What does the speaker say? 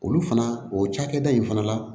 Olu fana o cakɛda in fana la